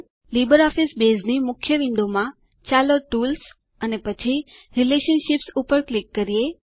LibreOffice બેઝની મુખ્યવિન્ડોમાં ચાલો ટૂલ્સ અને પછી રિલેશનશીપ્સ ઉપર ક્લિક કરીએ